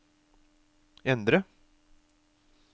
endre